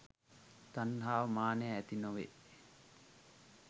තණ්හාව මානය ඇති නොවේ.